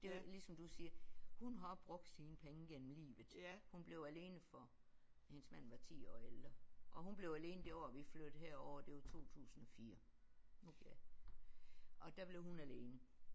Det var ligesom du siger hun har også brugt sine penge gennem livet. Hun blev alene for hendes mand var 10 år ældre og hun blev alene det år vi flyttede herover det var 2004 og der blev hun alene